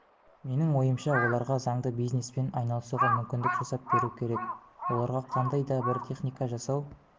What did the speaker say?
менің ойымша оларға заңды бизнеспен айналысуға мүмкіндік жасап беру керек оларға қандай да бір техника жасау